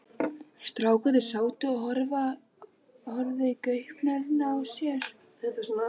Strákarnir sátu og horfðu í gaupnir sér.